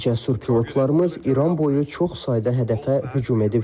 Cəsur pilotlarımız İran boyu çox sayda hədəfə hücum edib.